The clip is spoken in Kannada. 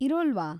ಇರೋಲ್ವಾ?